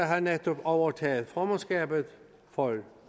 har netop overtaget formandskabet for